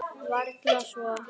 Varla svo.